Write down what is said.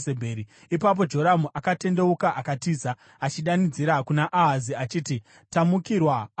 Ipapo Joramu akatendeuka akatiza, achidanidzira kuna Ahazi achiti, “Tamukirwa, Ahazi!”